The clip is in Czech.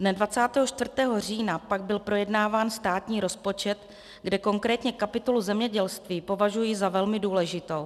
Dne 24. října pak byl projednáván státní rozpočet, kde konkrétně kapitolu zemědělství považuji za velmi důležitou.